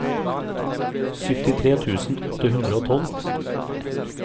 syttitre tusen åtte hundre og tolv